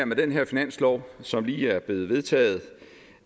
med den her finanslov som lige er blevet vedtaget